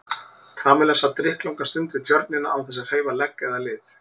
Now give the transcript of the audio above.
Kamilla sat drykklanga stund við Tjörnina án þess að hreyfa legg eða lið.